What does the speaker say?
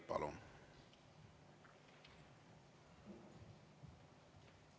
Palun!